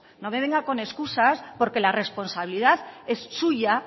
no me venga con excusas porque la responsabilidad es suya